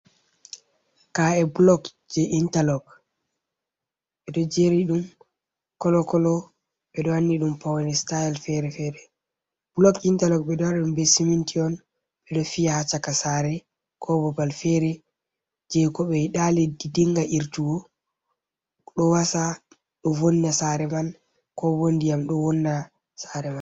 Ka’e, blog je interlog, bedo jeri dum, kolo, kolo bedo wanni dum pawne styl fere fere, blok je interlog, bedo wari dum guybe siminti on bedo fi’a ha chaka sare kobobal fere je ko be dali dinga irtugo do wasa do vonna sare man ko bo ndiyam do vonna sare man